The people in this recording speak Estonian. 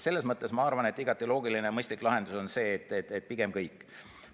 Selles mõttes ma arvan, et igati loogiline ja mõistlik lahendus on see, et pigem peavad kõik.